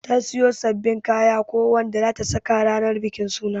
Ta siyo sabbabin kaya ko Wanda zata saka ranan bikin suna.